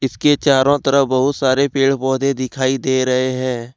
इसके चारों तरफ बहुत सारे पेड़ पौधे दिखाई दे रहे हैं।